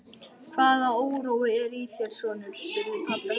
Hvaða órói er í þér, sonur? spurði pabbi hans.